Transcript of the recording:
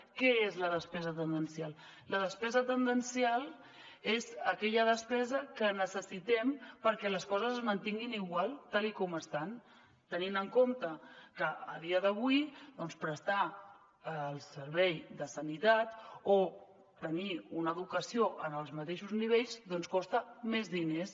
què és la despesa tendencial la despesa tendencial és aquella despesa que necessitem perquè les coses es mantinguin igual tal com estan tenint en compte que a dia d’avui doncs prestar el servei de sanitat o tenir una educació en els mateixos nivells costa més diners